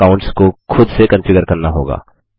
दूसरे अकाउंट्स को खुद से कन्फिगर करना होगा